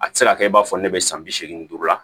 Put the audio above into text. A tɛ se ka kɛ i b'a fɔ ne bɛ san bi seegin duuru la